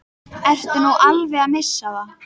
Ertu nú alveg að missa það?